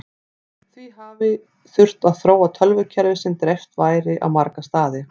því hafi þurft að þróa tölvukerfi sem dreift væri á marga staði